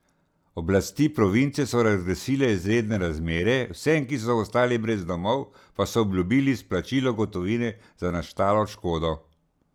Oblasti province so razglasile izredne razmere, vsem, ki so ostali brez domov, pa so obljubili izplačilo gotovine za nastalo škodo.